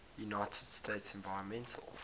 united states environmental